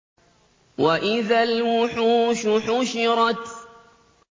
وَإِذَا الْوُحُوشُ حُشِرَتْ